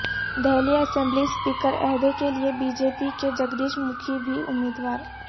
Delhi assembly speaker عہدے کیلیے B J P کے جگدیش مکھی بھی امیدوار